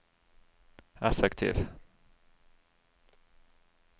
effektiv